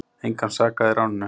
Engan sakaði í ráninu